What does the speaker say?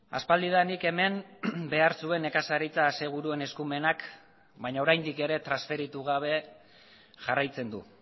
aspaldidanik hemen behar zuen nekazaritza aseguruen eskumenak baina oraindik ere transferitu gabe jarraitzen du